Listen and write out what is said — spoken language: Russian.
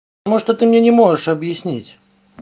может ты мне не можешь объяснить